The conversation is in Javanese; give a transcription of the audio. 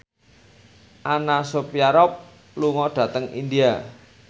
Anna Sophia Robb lunga dhateng India